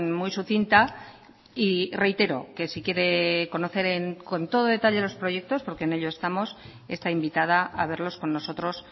muy sucinta y reitero que si quiere conocer con todo detalle los proyectos porque en ello estamos está invitada a verlos con nosotros